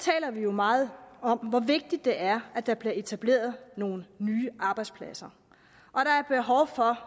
meget om hvor vigtigt det er at der bliver etableret nogle nye arbejdspladser